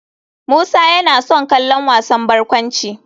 Musa yana son kallon wasan barkwanci.